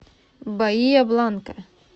баия бланка